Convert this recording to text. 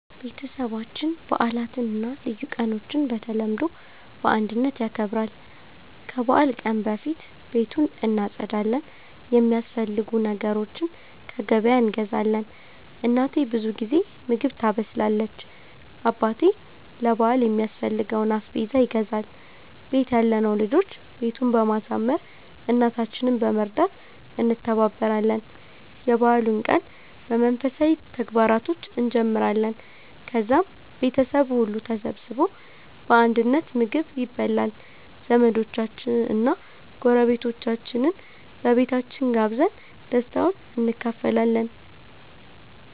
ቤተሰባችን በዓላትን እና ልዩ ቀኖችን በተለምዶ በአንድነት ያከብራል። ከበዓል ቀን በፊት ቤቱን እናጸዳለን፣ የሚያስፈልጉ ነገሮችን ከገበያ እንገዛለን። እናቴ ብዙ ጊዜ ምግብ ታበስላለች፣ አባቴ ለ በአል የሚያስፈልገውን አስቤዛ ይገዛል፣ ቤት ያለነው ልጆች ቤቱን በማሳመር፣ እናታችንን በመርዳት እንተባበራለን። የበዓሉን ቀን በመንፈሳዊ ተግባራቶች እንጀምራለን፣ ከዛም ቤተሰቡ ሁሉ ተሰብስቦ በአንድነት ምግብ ይበላል። ዘመዶቻችንን እና ጎረቤቶቻችንን በቤታችን ጋብዘን ደስታውን እንካፈላለን።